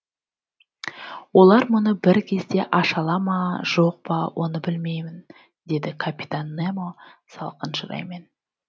олар мұны бір кезде аша ала ма жоқ па оны білмеймін деді капитан немо салқын шыраймен